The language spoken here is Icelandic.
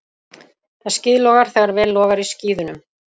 Það skíðlogar þegar vel logar í skíðunum.